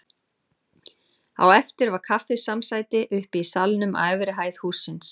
Á eftir var kaffisamsæti uppi í salnum á efri hæð hússins.